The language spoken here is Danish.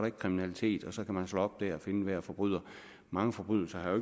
ikke kriminalitet og så kan man slå op der og enhver forbryder mange forbrydelser har jo